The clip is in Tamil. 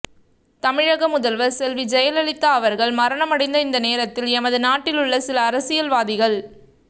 தமிழக முதல்வர் செல்வி ஜெயலலிதா அவர்கள் மரணமடைந்த இந்த நேரத்தில் எமது நாட்டிலுள்ள சில அரசியல்வாதிகள்